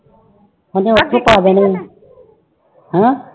ਉਹਨੇ ਆਪੇ ਪਾ ਦੇਣੇ ਆਂ ਹੈਂ